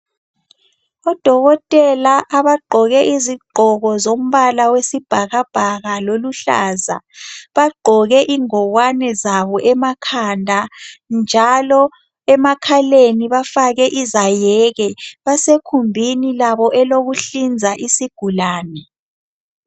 Odokotela abagqoke izigqoko zombala wesibhakabhaka loluhlaza bagqoke ingowane zabo emakhanda njalo emakhaleni bafake izayeke basekhumbini labo olokuhliza isigulane.